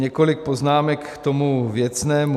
Několik poznámek k tomu věcnému.